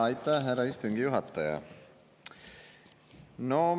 Aitäh, härra istungi juhataja!